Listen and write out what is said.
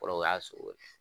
Kɔrɔ u y'a sogo